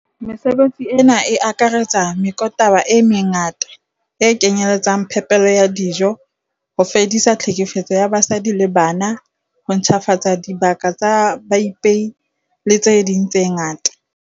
Mesebetsi ena e akaretsa meokotaba e mengata, e kenyeletsang phepelo ya dijo, ho fedisa tlhekefetso ya basadi le bana, ho ntjhafatsa dibaka tsa baipei le tse ding tse ngata.